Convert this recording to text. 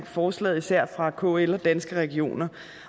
forslaget især fra kl og danske regioner